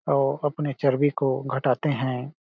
औ अपने चर्बी को घटाते हैं ।